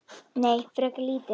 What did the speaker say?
Nei, frekar lítið.